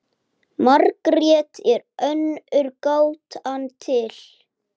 Margrét er önnur gátan til.